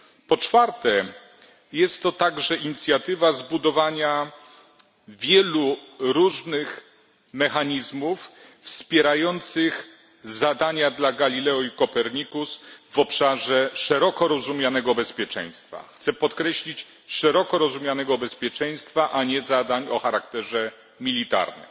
Po czwarte, jest to także inicjatywa zbudowania wielu różnych mechanizmów wspierających zadania dla Galileo i Copernicus w obszarze szeroko rozumianego bezpieczeństwa. Chcę podkreślić szeroko rozumianego bezpieczeństwa, a nie zadań o charakterze militarnym.